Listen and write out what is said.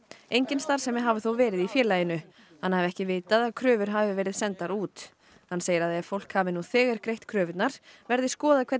engin starfsemi hafi þó verið í félaginu hann hafi ekki vitað að kröfur hafi verið sendar út hann segir að ef fólk hafi nú þegar greitt kröfurnar verði skoðað hvernig